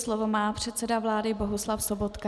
Slovo má předseda vlády Bohuslav Sobotka.